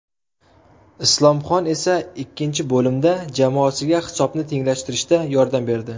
Islomxon esa ikkinchi bo‘limda jamoasiga hisobni tenglashtirishda yordam berdi.